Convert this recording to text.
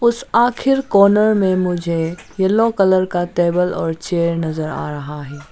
उस आखिर कार्नर में मुझे येलो कलर का टेबल और चेयर नजर आ रहा है।